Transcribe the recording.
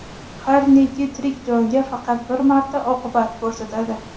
har neki tirik jonga faqat bir marta oqibat ko‘rsatadi.